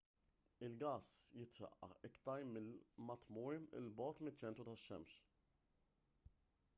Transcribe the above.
il-gass jitraqqaq iktar ma tmur il bogħod miċ-ċentru tax-xemx